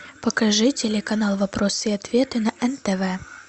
покажи телеканал вопросы и ответы на нтв